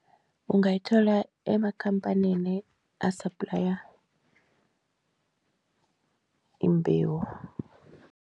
Ungayithola emakhamphanini asaplaya imbewu.